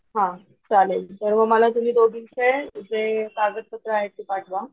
हा चालेल तर मग मला दोघींचे जे कागतपत्र आहेत ते पाठवा,